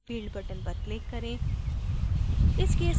add field button पर click करें